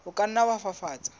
o ka nna wa fafatsa